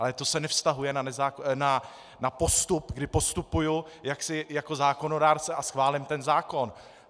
Ale to se nevztahuje na postup, kdy postupuji jako zákonodárce a schválím ten zákon.